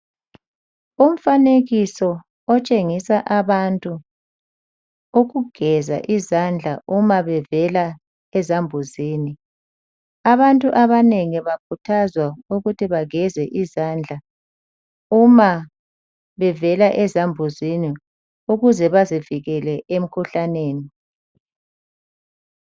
Umfanekiso otshengisa abantu ukugeza izandla uma bevela ezambuzini . Abantu abanengi bakhuthazwa ukuthi bageze izandla uma bevela ezambuzini ukuze bazivikele emkhuhlaneni.